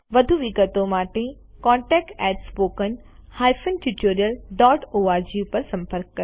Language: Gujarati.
વધુ વિગતો માટે contactspoken tutorialorg પર સંપર્ક કરો